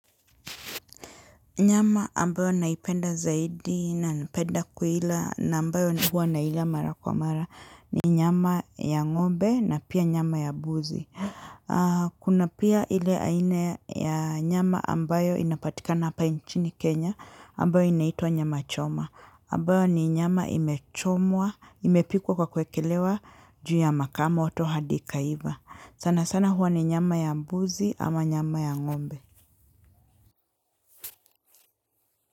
Nyama ambayo naipenda zaidi na napenda kuila na ambayo huwa naila mara kwa mara ni nyama ya ng'ombe na pia nyama ya mbuzi. Kuna pia ile aina ya nyama ambayo inapatikana hapa nchini Kenya ambayo inaitwa nyama choma. Ambayo ni nyama imechomwa, imepikwa kwa kuekelewa juu ya makaa moto hadi ikaiva. Sana sana huwa ni nyama ya mbuzi ama nyama ya ng'ombe.